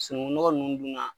Sunugunnɔgɔ nunnu dun na